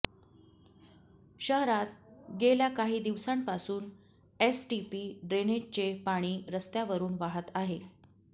शहरात गेल्या काही दिवसांपासून एसटीपी ड्रेनेजचे पाणी रस्त्यावरून वाहत आहे